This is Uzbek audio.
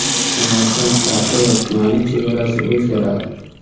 Samarqand shahri va tumani chegarasi o‘zgaradi.